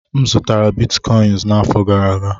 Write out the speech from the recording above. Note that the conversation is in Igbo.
M zụtara bitcọịns n'afọ gara aga.